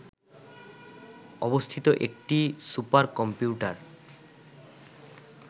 অবস্থিত একটি সুপারকম্পিউটার